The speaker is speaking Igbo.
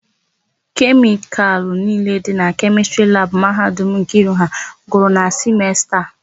Kemịkalụ niile dị na Kemịstrị labụ Mahadum Nkiru ha gwụrụ na simesta a.